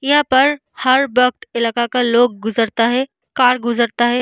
यहाँ पर हर वक़्त इलाका का लोग गुजरता है कार गुजरता है।